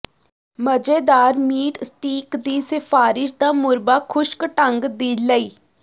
ਮਜ਼ੇਦਾਰ meat steak ਦੀ ਸਿਫਾਰਸ਼ ਦਾ ਮੁੱਰਬਾ ਖੁਸ਼ਕ ਢੰਗ ਦੀ ਲਈ